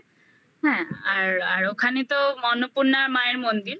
হ্যাঁ আর আর ওখানে তো অন্নপূর্ণার মায়ের মন্দির